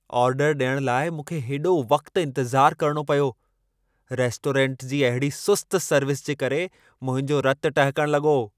आर्डरु ॾियण लाइ मूंखे हेॾो वक़्तु इंतिज़ार करणो पियो। रेस्टोरंट जी अहिड़ी सुस्त सर्विस जे करे मुंहिंजो रतु टहिकण लॻो!